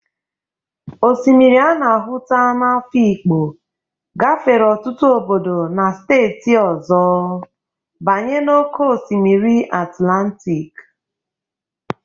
Osimiri a na-ahụta n'Afikpo gafere ọtụtụ obodo na steeti ọzọ banye na oke osimiri Atlantịk